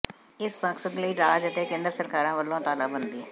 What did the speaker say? ਇਸ ਮਕਸਦ ਲਈ ਰਾਜ ਅਤੇ ਕੇਂਦਰ ਸਰਕਾਰਾਂ ਵੱਲੋਂ ਤਾਲਾਬੰਦੀ